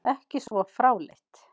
Ekki svo fráleitt!